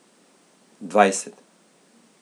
Dvajset.